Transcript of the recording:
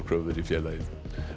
kröfur í félagið